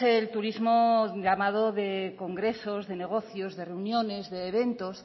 el turismo llamado de congresos de negocios de reuniones de eventos